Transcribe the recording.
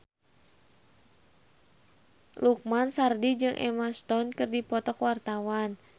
Lukman Sardi jeung Emma Stone keur dipoto ku wartawan